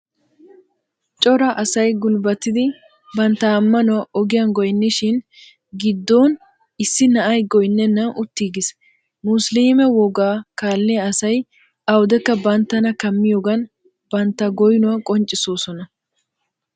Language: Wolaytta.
Cora asay gulbbatidi bantta ammanuwaa ogiyan goynniishin giddon issi na'ay goynnennan uttiigis. Musliime wogaa kaalliya asay awudekka banttana kammiyoogan bantta goynuwa qonccissoosona.